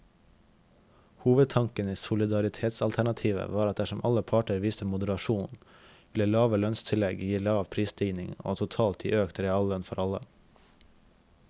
Hovedtanken i solidaritetsalternativet var at dersom alle parter viste moderasjon, ville lave lønnstillegg gi lav prisstigning og totalt gi økt reallønn for alle.